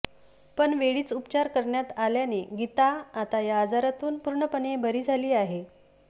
पण वेळीच उपचार करण्यात आल्याने गीता आता या आजारातून पूर्णपणे बरी झाली आहे